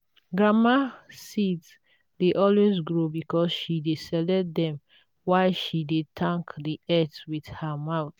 grandma seeds dey always grow because she dey select them while she dey thank the earth with her mouth.